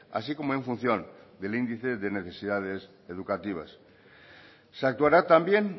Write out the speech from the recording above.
así como en función del índice de necesidades educativas se actuará también